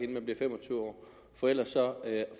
man bliver fem og tyve år for ellers